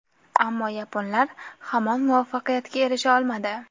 Ammo yaponlar hamon muvaffaqiyatga erisha olmadi.